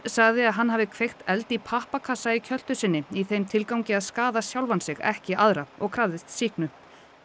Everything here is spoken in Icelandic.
sagði að hann hafi kveikt eld í pappakassa í kjöltu sinni í þeim tilgangi að skaða sjálfan sig ekki aðra og krafðist sýknu